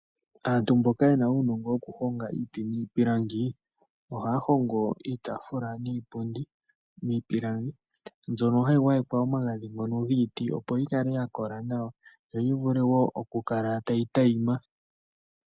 Aantu mboka yena unongo wokuhonga iti nipilangi , ohaya hongo iitafula niipundi mipilangi mbyono hayi ngwayekwa omagadhi ngono ngiiti opo yikale yakola nawa yo yivule wo oku kala tayi tayima.